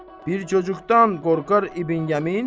Bir cocuqdan qorxar İbn Yəmin?